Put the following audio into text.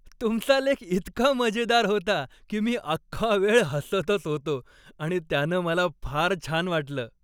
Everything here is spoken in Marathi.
तुमचा लेख इतका मजेदार होता की मी अख्खा वेळ हसतच होतो आणि त्यानं मला फार छान वाटलं.